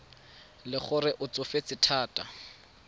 le gore o tsofetse thata